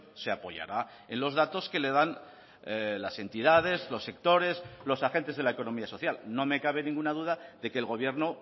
se apoyará en los datos que le dan las entidades los sectores los agentes de la economía social no me cabe ninguna duda de que el gobierno